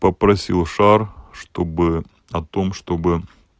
попросил шар чтобы о том чтобы